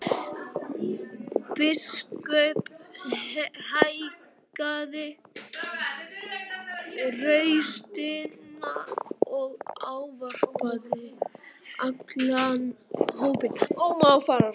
Biskup hækkaði raustina og ávarpaði allan hópinn.